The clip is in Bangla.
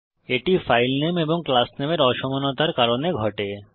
এটি ফাইল নেম এবং ক্লাস নেমের অসমানতার কারণে ঘটে